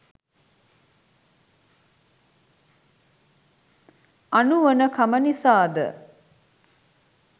අනුවණකම නිසා ද?